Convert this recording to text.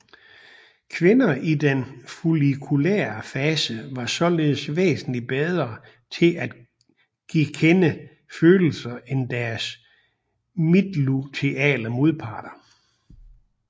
Kvinder i den follikulære fase var således væsentligt bedre til at gekende følelser end deres midtluteale modparter